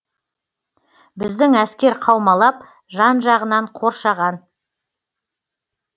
біздің әскер қаумалап жан жағынан қоршаған